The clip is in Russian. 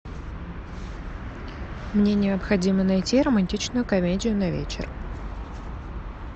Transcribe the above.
мне необходимо найти романтичную комедию на вечер